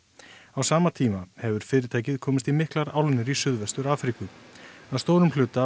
á sama tíma hefur fyrirtækið komist í miklar álnir í Suðvestur Afríku að stórum hluta